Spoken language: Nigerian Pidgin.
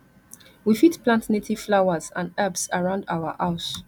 we fit plant native flowers and herbs around our house